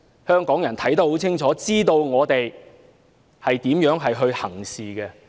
香港人看得很清楚，知道我們如何行事。